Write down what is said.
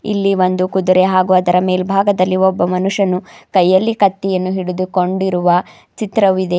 ಇಲ್ಲಿ ಒಂದು ಕುದುರೆ ಹಾಗೂ ಅದರ ಮೇಲ್ಭಾಗದಲ್ಲಿ ಒಬ್ಬ ಮನುಷ್ಯನು ಕೈಯಲ್ಲಿ ಕತ್ತಿಯನ್ನು ಹಿಡಿದುಕೊಂಡಿರುವ ಚಿತ್ರವು ಇದೆ.